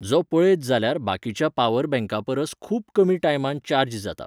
जो पळयत जाल्यार बाकीच्या पावर बँकापरस खूब कमी टायमान चार्ज जाता.